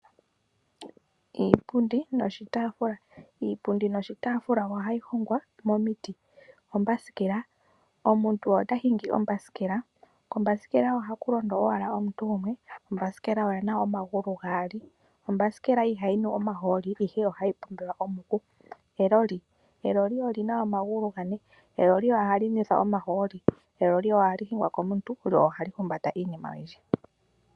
Iipundi noshitaafula Iipundi noshitaafula ohayi hongwa momiti. Ombasikela: Omuntu ota hingi ombasikela. Kombasikela ohaku londo owala omuntu gumwe. Ombasikela oyi na omagulu gaali. Ombasikela ihayi nu omaholi, ihe ohayi pombwelwa omuku. Eloli: Eloli oli na omagulu gane. Eloli ohali nwethwa omahooli. Eloli ohali hingwa komuntu lyo ohali humbata iinima oyindji.